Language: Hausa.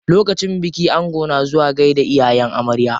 Lokacin biki ango na zuwa gaida iyayen amarya.